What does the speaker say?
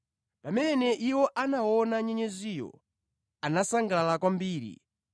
Pamene iwo anaona nyenyeziyo, anasangalala kwambiri.